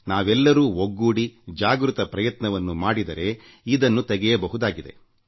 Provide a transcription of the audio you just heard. ನಾವೆಲ್ಲರೂ ಒಗ್ಗೂಡಿ ಜಾಗೃತ ಪ್ರಯತ್ನವನ್ನು ಮಾಡಿದರೆ ಇದನ್ನು ತೆಗೆಯಬಹುದಾಗಿದೆ